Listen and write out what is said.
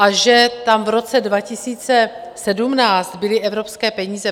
A že tam v roce 2017 byly evropské peníze?